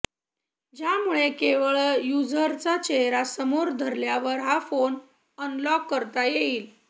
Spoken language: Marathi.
ज्यामुळे केवळ युझरचा चेहरा समोर धरल्यावर हा फोन अनलॉक करता येईल